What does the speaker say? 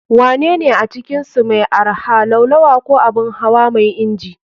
Wanene a cikinsu mai arha, Laulawa ko Abun hawa mai inji?